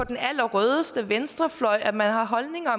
den allerrødeste venstrefløj at man har holdninger